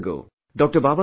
Years ago, Dr